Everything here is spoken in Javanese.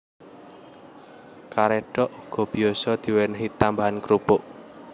Karédhok uga biyasa diwènèhi tambahan krupuk